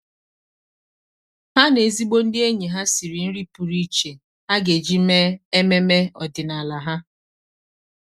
há na ezigbo ndị ényì ha sìrì nrí pụ́rụ́ iche há gà-éjí mèé ememe ọ́dị́nála ha.